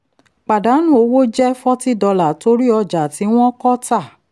pàdánù owó jẹ́ $40 torí ọjà tí wọ́n kọ tà.